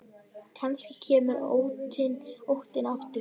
Kannski kemur óttinn aftur.